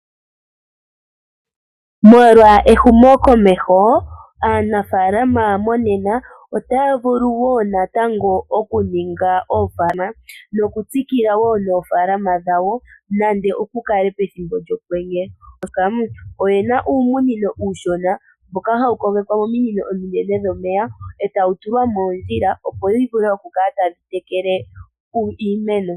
Molwa ehumo komeho aanafalama monena otaya vulu natango oku ninga oopala nokutsikila wo noofaalama dhawo nande oshi kale pethimbo lyokwenye. Oyena uumunino uushona mboka hawu kogekwa mominino ominene dhomeya etawu tulwa moondjila, opo wu vule iku kala tadhi tekele iimeno.